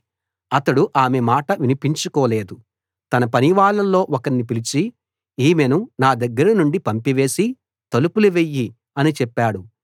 అతడు ఆమె మాట వినిపించుకోలేదు తన పనివాళ్ళలో ఒకణ్ణి పిలిచి ఈమెను నా దగ్గర నుండి పంపివేసి తలుపులు వెయ్యి అని చెప్పాడు